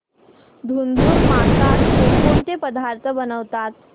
धुंधुर मासात कोणकोणते पदार्थ बनवतात